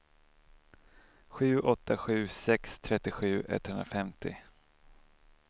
sju åtta sju sex trettiosju etthundrafemtio